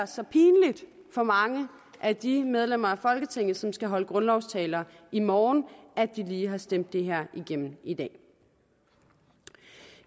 så pinligt for mange af de medlemmer af folketinget som skal holde grundlovstaler i morgen at de lige har stemt det her igennem i dag